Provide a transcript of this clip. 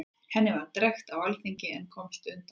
Henni var drekkt á alþingi, en hann komst undan.